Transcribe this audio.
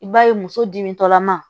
I b'a ye muso dimi tɔlama